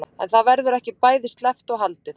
En það verður ekki bæði sleppt og haldið.